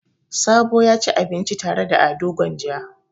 Sabo ya ci abinci tare da Ado Gwanja.